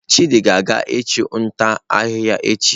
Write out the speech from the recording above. Chidi ga-aga ichu nta ahihia echi